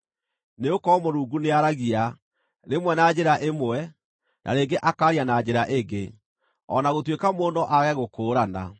Nĩgũkorwo Mũrungu nĩaaragia, rĩmwe na njĩra ĩmwe, na rĩngĩ akaaria na njĩra ĩngĩ, o na gũtuĩka mũndũ no aage gũkũũrana.